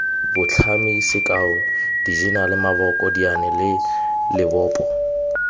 botlhami sekao dijenale maboko dianelalebopo